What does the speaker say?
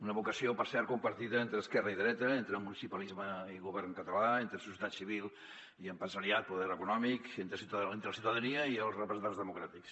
una vocació per cert compartida entre esquerra i dreta entre mu·nicipalisme i govern català entre societat civil i empresariat poder econòmic entre la ciutadania i els representants democràtics